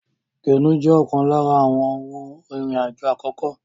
Kénu jẹ́ ọ̀kan lára àwọn ohun ìrìn àjò àkókò